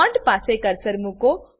bond પાસે cursor મુકો